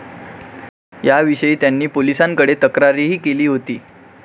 याविषयी त्यांनी पोलिसांकडे तक्रारही केली होती.